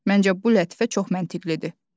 Məncə bu lətifə çox məntiqlidir.